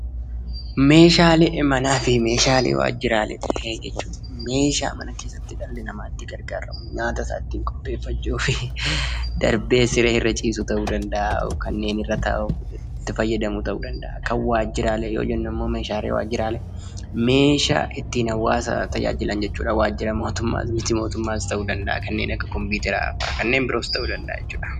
Meeshaalee manaa fi Waajjiraa. Meeshaalee manaa jechuun meeshaa dhalli namaa mana keessatti itti gargaaramu nyaata isaa ittiin qopheeffachuuf darbees siree irra ciisu ta'uu danda'a fi kanneen irra taa'an ta'uu danda'a. Kan Waajjiraalee gaafa jennu immoo meeshaalee ittiin hawwaasa tajaajilan jechuudha. Kunis Waajjira mootummaa fi miti mootummaa keessatti ta'uu danda'a. Kanneen akka kompiyuuteraa fa'aa ta'uu danda'a.